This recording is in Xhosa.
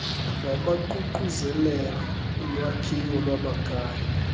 abaququzelela ulwakhiwo lwamakhaya